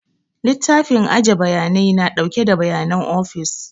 Littafin aje bayanai na ɗauke da bayanan ofis